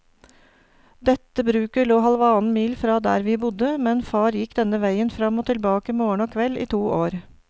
Dette bruket lå halvannen mil fra der vi bodde, men far gikk denne veien fram og tilbake morgen og kveld i to år.